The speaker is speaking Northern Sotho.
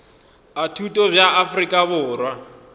a thuto bja afrika borwa